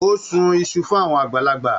O sún Isu fún àwọn àgbàlagbà.